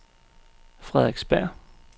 Frederiksberg